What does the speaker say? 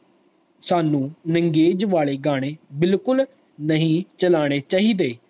ਸਾਨੂ ਨੰਗੇਜ ਵਾਲੇ ਗਾਣੇ ਬਿਲਕੁਲ ਨਹੀਂ ਚਲਾਣੇ ਚਾਹੀਦੇ